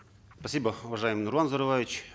спасибо уважаемый нурлан зайроллаевич